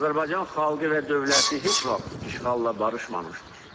Azərbaycan xalqı və dövləti heç vaxt işğalla barışmamışdır.